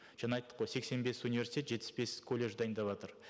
жаңа айттық қой сексен бес университет жетпіс бес колледж дайындаватыр